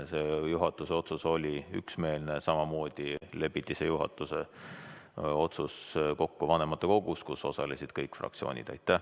See juhatuse otsus oli üksmeelne, samamoodi lepiti selles juhatuse otsuses kokku vanematekogus, kus osalesid kõik fraktsioonid.